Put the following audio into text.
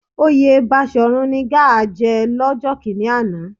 Oyè Baṣòrun ni Gáà jẹ lọ́jọ́ kíní àná